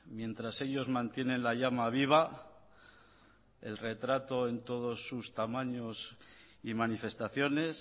mientras ellos mantienen la llama viva el retrato en todos sus tamaños y manifestaciones